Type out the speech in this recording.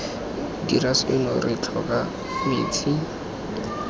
dire seno re tlhoka metsi